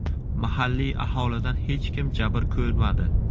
Mahalliy aholidan hech kim jabr ko‘rmadi.